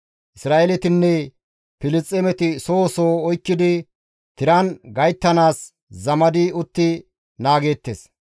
Isra7eeletinne Filisxeemeti soho soho oykkidi tiran gayttanaas zamadi utti naageettes.